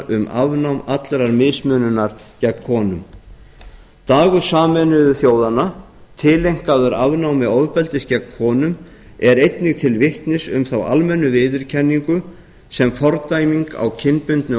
um afnám allrar mismununar gegn konum dagur sameinuðu þjóðanna tileinkaður afnámi ofbeldis gegn konum er einnig til vitnis um þá almennu viðurkenningu sem fordæming á kynbundnu